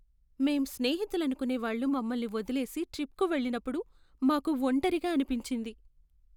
మేం స్నేహితులనుకునేవాళ్ళు మమ్మల్ని వదిలేసి ట్రిప్కు వెళ్ళినప్పుడు మాకు ఒంటరిగా అనిపించింది.